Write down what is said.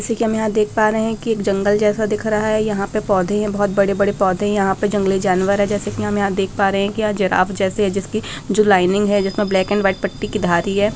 जैसे कि हम यहाँ देख पा रहे की एक जंगल जैसा दिख रहा है यहाँ पे पौधे है बहोत बड़े-बड़े पौधे है यहाँ पे जंगली जानवर है जैसे कि हम यहाँ देख पा रहे हैं कि यहाँ जिराफ़ जैसे है जिसकी जो लाइनिंग है जिसमें ब्लैक एंड वाइट पट्टी की धारी है।